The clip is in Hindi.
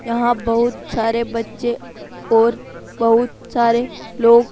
यहां बहुत सारे बच्चे और बहुत सारे लोग --